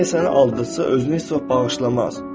Əgər səni aldadırsa, özünü heç vaxt bağışlamaz.